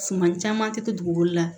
Suman caman tɛ to dugugolo la